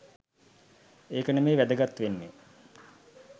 ඒක නෙමෙයි වැදගත් වෙන්නෙ